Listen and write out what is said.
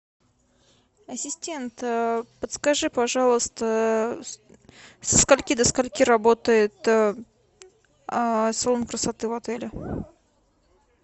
ассистент подскажи пожалуйста со скольки до скольки работает салон красоты в отеле